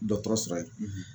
Dɔtɔrɔ sɔrɔ ye